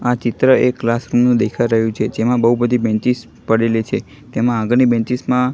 આ ચિત્ર એક ક્લાસરૂમ નું દેખાય રહ્યું છે જેમાં બૌ બધી બેન્ચીસ પડેલી છે તેમાં આગળની બેન્ચીસ માં--